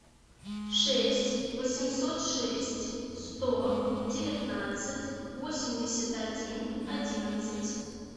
шесть восемьсот шесть сто девятнадцать восемьдесят один одиннадцать